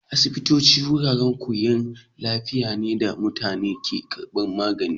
Asibitoci wuraren kiwon lafiya ne da mutane ke karbar magani